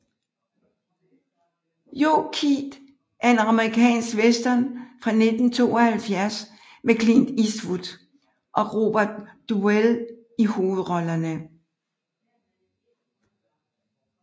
Joe Kidd er en amerikansk western fra 1972 med Clint Eastwood og Robert Duvall i hovedrollerne